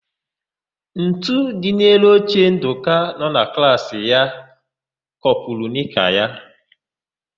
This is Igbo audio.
Ntu dị n'elu oche Ndụka na klaasị ya kopuru nịka ya.